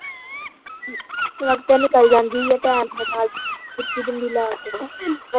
ਸੁਵੱਖਤੇ ਨਿੱਕਲ ਜਾਂਦੀ ਏ time ਦੇ ਨਾਲ ਸੁਰਖੀ ਬਿੰਦੀ ਲਾ ਕੇ